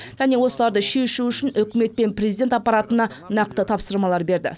және осыларды шешу үшін үкімет пен президент аппаратына нақты тапсырмалар берді